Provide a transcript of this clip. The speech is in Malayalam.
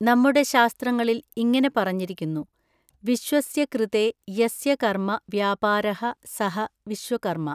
നമ്മുടെ ശാസ്ത്രങ്ങളിൽ ഇങ്ങനെ പറഞ്ഞിരിക്കുന്നു, വിശ്വസ്യ കൃതേ യസ്യ കർമ്മ വ്യാപാരഃ സഃ വിശ്വകർമ്മ.